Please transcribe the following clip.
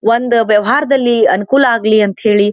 ಒಂದ ವ್ಯವಹಾರದಲ್ಲಿ ಅನುಕೂಲ ಆಗಲಿ ಅಂತ ಹೇಳಿ --